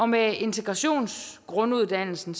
med integrationsgrunduddannelsen